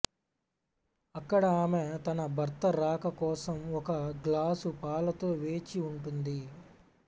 అక్కడ ఆమె తన భర్త రాక కోసం ఒక గ్లాసు పాలతో వేచి ఉంటుంది